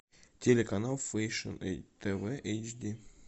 телеканал фэшн тв эйчди